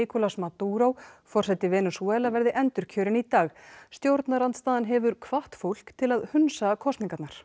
Nicolas Maduró forseti Venesúela verði endurkjörinn í dag stjórnarandstaðan hefur hvatt fólk til að hunsa kosningarnar